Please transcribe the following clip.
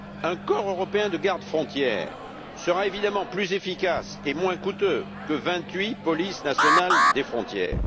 Un corps européen de gardes frontières sera évidemment plus efficace et moins coûteux que vingt huit polices nationales des frontières.